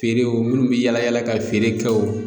Feerew minnu bɛ yala yala ka feere kɛ o